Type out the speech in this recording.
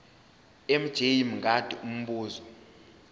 mj mngadi umbuzo